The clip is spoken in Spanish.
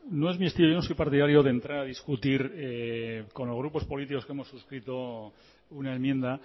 no es muy estilo yo no soy partidario de entrar a discutir con los grupos políticos que hemos suscrito una enmienda